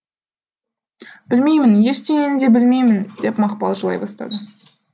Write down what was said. білмеймін ештеңені де білмеймін деп мақпал жылай бастады